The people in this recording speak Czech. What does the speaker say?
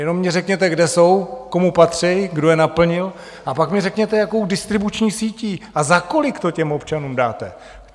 Jenom mi řekněte, kde jsou, komu patří, kdo je naplnil, a pak mi řekněte, jakou distribuční sítí, a za kolik to těm občanům dáte.